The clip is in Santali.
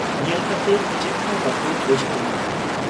ᱧᱮᱞ ᱠᱟᱛᱮ ᱪᱮᱫᱦᱚᱸ ᱵᱟᱠᱚ ᱵᱩᱡᱷᱟᱹᱣ ᱧᱟᱢ ᱟ ᱾